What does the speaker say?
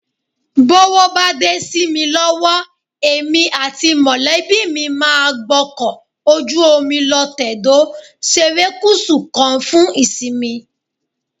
Bówó bá dé sí mi lọ́wọ́, èmi àti mọ̀lẹ́bí mi máa gbọ́kọ̀ ojú omi lọ tẹ̀dó serékùsù kan fún ìsinmi